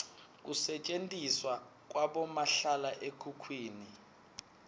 kusetjentiswa kwabomahlala ekhukhwini